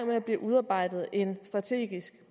ved at blive udarbejdet en strategisk